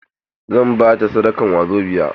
Zan ba ta sadakan wazobiya.